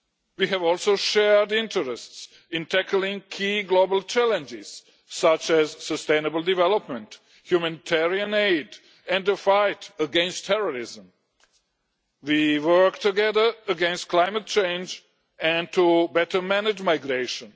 We have also shared interests in tackling key global challenges, such as sustainable development, humanitarian aid and the fight against terrorism. We work together against climate change and to better manage migration.